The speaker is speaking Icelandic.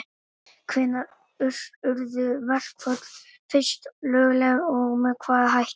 Hvenær urðu verkföll fyrst lögleg og með hvaða hætti?